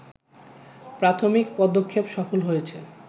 প্রাথমিক পদক্ষেপ সফল হয়েছে